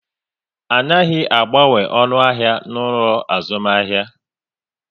A naghi agbanwe onu ahia n'ulo azumahia